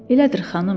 Elədir, xanım.